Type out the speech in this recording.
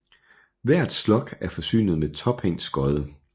Hvert slug er forsynet med tophængt skodde